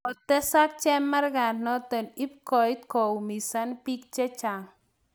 kotesak chemargaa notok ipkoet nekoiumisan biik chechang